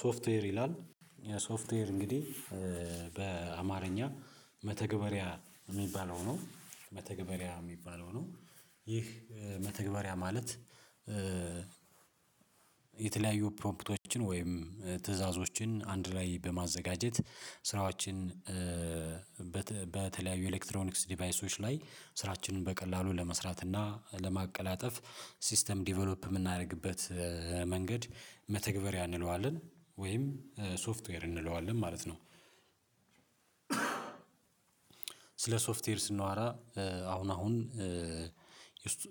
ሶፍትዌር ይላል የሶፍትዌር እንግዲህ በአማርኛ መተግበሪያ የሚባለው ነው መተግበሪያ የሚባለው ነው ይህ መተግበሪያ ማለት የተለያዩ ፕሮምፕቶችን ወይም ትዕዛዞችን አንድ ላይ በማዘጋጀት ስራዎችን በተለያዩ ኤሌክትሮኒክስ ዲቫይሶች ላይ ስራችንን በቀላሉ ለመስራት እና ለማቀላጠፍ ሲስተም ዲቨሎፕ የምናደርግበት መንገድ መተግበሪያ እንለዋልን ወይም ሶፍትዌር እንለዋለን ማለት ነው። ስለ ሶፍትዌር ስናወራ አሁን አሁን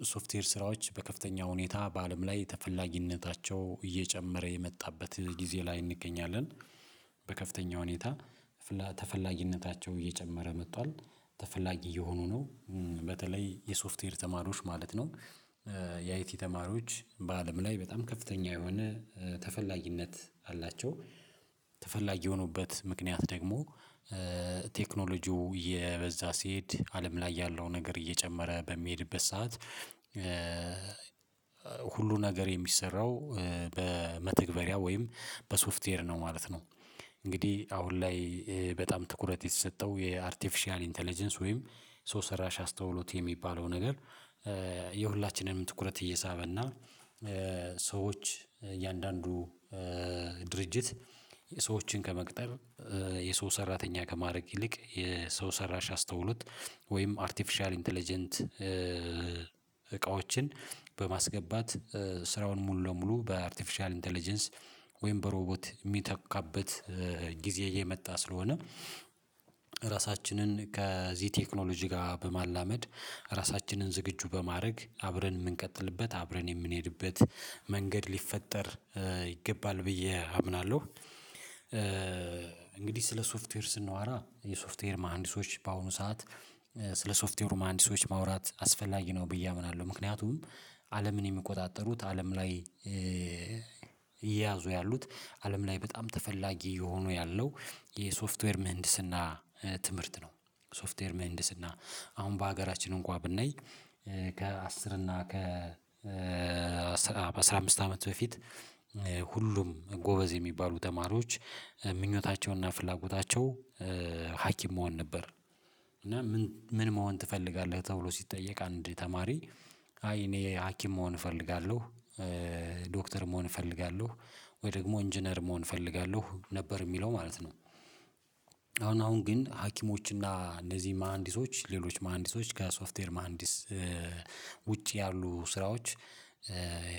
የሶፍትዌር ስራዎች በከፍተኛ ሁኔታ በአለም ላይ ተፈላጊነታቸው እየጨመረ የመጣበት ጊዜ ላይ እንገኛለን በከፍተኛ ሁኔታ ተፈላጊነታቸው እየጨመረ መጥቷል ተፈላጊ እየሆኑ ነው። በተለይ የሶፍትዌር ተማሪዎች ማለት ነው የአይቲ ተማሪዎች በአለም ላይ በጣም ከፍተኛ የሆነ ተፈላጊነት አላቸው። ተፈላጊ የሆኑበት ምክንያት ደግሞ ቴክኖሎጂው እየበዛ ሲሄድ አለም ላይ ያለው ነገር እየጨመረ በሚሄድበት ሰዓት ሁሉ ነገር የሚሰራው በመተግበሪያ ወይም በሶፍትዌር ነው ማለት ነው። እንግዲህ አሁን ላይ በጣም ትኩረት የተሰጠው የአርቲፊሻል ኢንተለጀንስ ወይም ሶስት ሰራሽ አስተውሎት የሚባለው ነገር የሁላችንም ትኩረት እየሳበና ሰዎች እያንዳንዱ ድርጅት ሰዎችን ከመቅጠር የሰው ሰራተኛ ከማድረግ ይልቅ የሰው ሰራሽ አስተውሉት ወይም አርቲፊሻል ኢንተለጀንስ እቃዎችን በማስገባት ስራውን ሙሉ ለሙሉ በአርቲፊሻል ኢንተለጀንስ ወይም በሮቦት ሚተካበት ጊዜ እየመጣ ስለሆነ ራሳችንን ከዚህ ቴክኖሎጂ ጋር በማላመድ ራሳችንን ዝግጁ በማድረግ አብረን የምንቀጥልበት አብረን የምንሄድበት መንገድ ሊፈጠር ይገባል ብዬ አምናለሁ። እንግዲህ ስለ ሶፍትዌር ስናወራ የሶፍትዌር መሃንዲሶች በአሁኑ ሰዓት ስለ ሶፍትዌር ማንዲሶች ማውራት አስፈላጊ ነው ብዬ አምናለሁ ምክንያቱም አለምን የሚቆጣጠሩት አለም ላይ እየያዙ ያሉት አለም ላይ በጣም ተፈላጊ የሆኑ ያለው የሶፍትዌር ምህንድስና ትምህርት ነው። ሶፍትዌር ምህንድስና አሁን በሀገራችን እንኳን ብናይ ከአስር እና ከ በአስራ አምስት አመት በፊት ሁሉም ጎበዝ የሚባሉ ተማሪዎች ምኞታቸውና ፍላጎታቸው ሀኪም መሆን ነበር። እና ምን መሆን ትፈልጋለህ ተብሎ ሲጠየቅ አንድ ተማሪ አይ እኔ ሀኪም መሆን እፈልጋለሁ ዶክተር መሆን እፈልጋለሁ ወይ ደግሞ ኢንጂነር መሆን እፈልጋለሁ ነበር የሚለው ማለት ነው። አሁን አሁን ግን ሀኪሞች እና እንደዚህ መሃንዲሶች ሌሎች መሃንዲሶች ጋር ከሶፍትዌር መሃንዲስ ውጪ ያሉ ስራዎች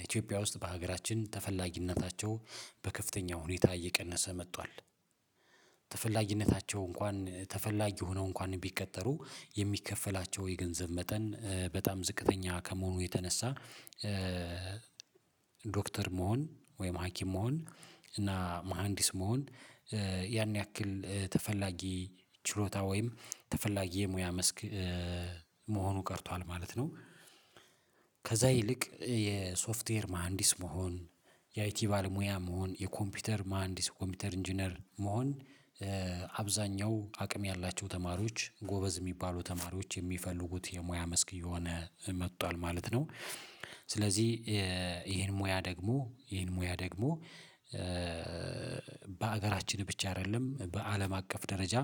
ኢትዮጵያ ውስጥ በሀገራችን ተፈላጊነታቸው በከፍተኛ ሁኔታ እየቀነሰ መጥቷል። ተፈላጊነታቸው እንኳን ተፈላጊ ሆነው እንኳን ቢቀጠሩ የሚከፈላቸው የገንዘብ መጠን በጣም ዝቅተኛ ከመሆኑ የተነሳ ዶክተር መሆን ወይም ሀኪም መሆን እና መሃንዲስ መሆን ያን ያክል ተፈላጊ ችሎታ ወይም ተፈላጊ የሙያ መስክ መሆኑ ቀርቷል ማለት ነው። ከዛ ይልቅ የሶፍትዌር መሃንዲስ መሆን የአይቲ ባለሙያ መሆን የኮምፒውተር መሃንዲስ ኮምፒውተር ኢንጂነር መሆን አብዛኛው አቅም ያላቸው ተማሪዎች ጎበዝ የሚባሉ ተማሪዎች የሚፈልጉት የሙያ መስክ እየሆነ መጥቷል ማለት ነው። ስለዚህ ይሄን ሙያ ደግሞ ይሄን ሙያ ደግሞ በሀገራችን ብቻ አይደለም በአለም አቀፍ ደረጃ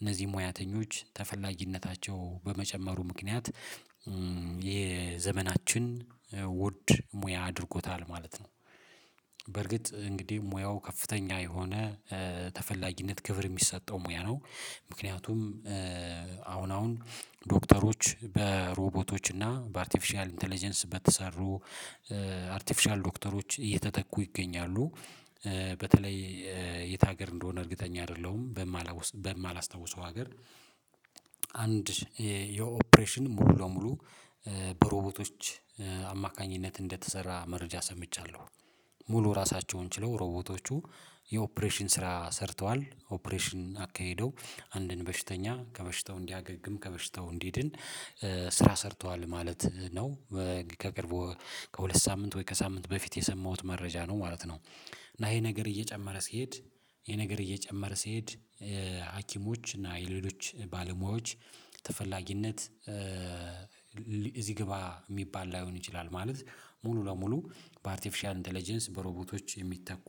እነዚህ ሙያተኞች ተፈላጊነታቸው በመጨመሩ ምክንያት የዘመናችን ውድ ሙያ አድርጎታል ማለት ነው። በርግጥ እንግዲህ ሙያው ከፍተኛ የሆነ ተፈላጊነት ክብር የሚሰጠው ሙያ ነው ምክንያቱም አሁን አሁን ዶክተሮች በሮቦቶች እና በአርቲፊሻል ኢንተለጀንስ በተሰሩ አርቲፊሻል ዶክተሮች እየተተኩ ይገኛሉ። በተለይ የት ሀገር እንደሆነ እርግጠኛ አይደለሁም። በማላውስ በማላስታውሰው ሀገር አንድ የኦፕሬሽን ሙሉ ለሙሉ በሮቦቶች አማካኝነት እንደተሰራ መረጃ ሰምቻለሁ። ሙሉ ራሳቸውን ችለው ሮቦቶቹ የኦፕሬሽን ስራ ሰርተዋል ኦፕሬሽን አካሄደው አንድን በሽተኛ ከበሽታው እንዲያገግም ከበሽታው እንዲድን ስራ ሰርቷል ማለት ነው። ከቅርቡ ከሁለት ሳምንት ወይ ከሳምንት በፊት የሰማሁት መረጃ ነው ማለት ነው። እና ይሄ ነገር እየጨመረ ሲሄድ ይሄ ነገር እየጨመረ ሲሄድ ሀኪሞች እና የሌሎች ባለሙያዎች ተፈላጊነት እዚህ ግባ የሚባል ላይሆን ይችላል ማለት ሙሉ ለሙሉ በአርቲፊሻል ኢንተለጀንስ በሮቦቶች የሚተኩ